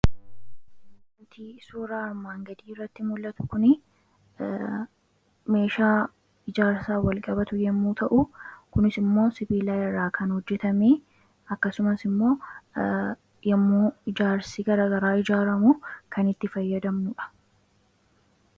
Suuraa armaan gadii irratti mul'atu kun meeshaa ijaarsa walqabatu yommuu ta'u kunis immoo sibiilaa irraa kan hojjetamee akkasumas immoo yommuu ijaarsi garagaraa ijaaramu kan itti fayyadamudha.